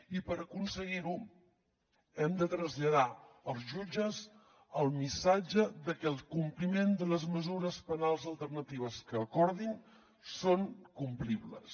i per aconseguir ho hem de traslladar als jutges el missatge de que el compliment de les mesures penals alternatives que acordin són complibles